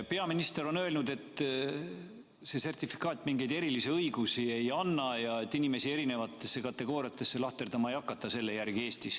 Peaminister on öelnud, et see sertifikaat mingeid erilisi õigusi ei anna ja et inimesi erikategooriatesse lahterdama ei hakata selle järgi Eestis.